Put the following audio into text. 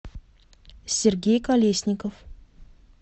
сергей колесников